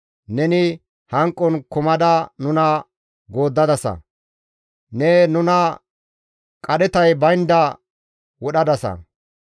Neni hanqon kumada nuna gooddadasa; ne nuna qadhetay baynda wodhadasa.